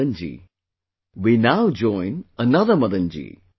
Madan ji, we now join another Madan ji